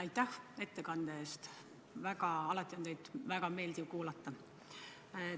Aitäh ettekande eest, teid on alati väga meeldiv kuulata!